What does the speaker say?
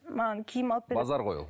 маған киім алып базар ғой ол